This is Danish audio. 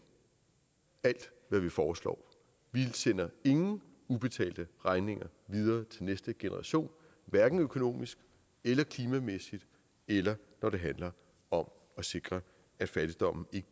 alt hvad vi foreslår vi sender ingen ubetalte regninger videre til næste generation hverken økonomisk eller klimamæssigt eller når det handler om at sikre at fattigdommen ikke